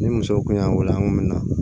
Ni muso kun y'an wele an kun mi na